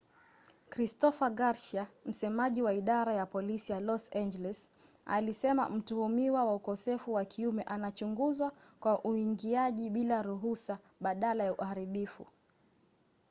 christopher garcia msemaji wa idara ya polisi ya los angeles alisema mtuhumiwa wa ukosefu wa kiume anachunguzwa kwa uingiaji bila ruhusa badala ya uharibifu